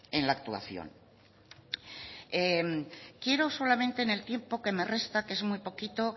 en la actuación quiero solamente en el tiempo que me resta que es muy poquito